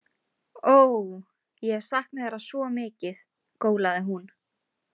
Óóó, ég hef saknað þeirra svo mikið, gólaði hún.